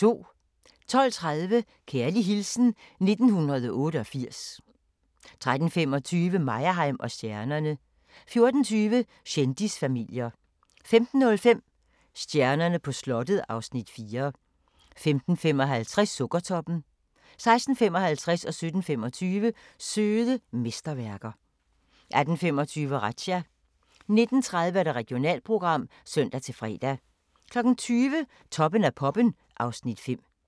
12:30: Kærlig hilsen 1988 13:25: Meyerheim & stjernerne 14:20: Kendisfamilier 15:05: Stjernerne på slottet (Afs. 4) 15:55: Sukkertoppen 16:55: Søde mesterværker 17:25: Søde mesterværker 18:25: Razzia 19:30: Regionalprogram (søn-fre) 20:00: Toppen af poppen (Afs. 5)